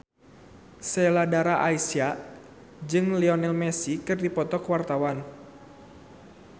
Sheila Dara Aisha jeung Lionel Messi keur dipoto ku wartawan